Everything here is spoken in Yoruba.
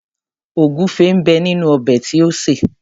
Ògúnfẹ ń bẹ nínú ọbẹ̀ tí o sè.